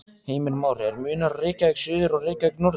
Heimir Már: Er munur á Reykjavík suður og Reykjavík norður?